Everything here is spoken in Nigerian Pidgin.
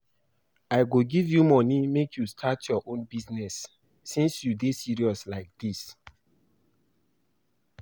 I go give you money make you start your own business since you dey serious like dis